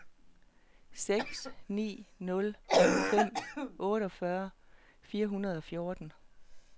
seks ni nul fem otteogfyrre fire hundrede og fjorten